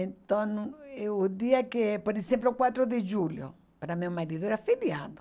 Então, eh o dia que, por exemplo, quatro de julho, para meu marido era feriado.